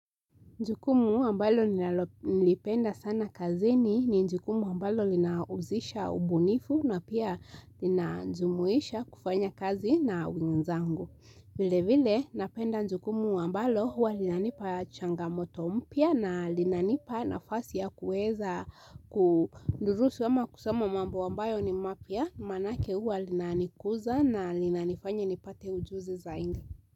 Jukumu ambalo nalolipenda sana kazini ni jukumu ambalo linahusisha ubunifu na pia lina jumuisha kufanya kazi na wenzangu. Vile vile napenda jukumu ambalo huwa linanipa changamoto mpya na linanipa nafasi ya kuweza kudurusu ama kusoma mambo ambayo ni mapya maanake huwa linanikuza na linanifanya nipate ujuzi zaidi.